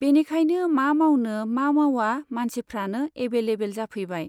बेनिखायनो मा मावनो मा मावा मानसिफ्रानो एभैलेबोल जाफैबाय।